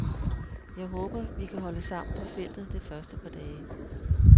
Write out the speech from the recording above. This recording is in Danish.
Jeg håber, vi kan holde sammen på feltet det første par dage.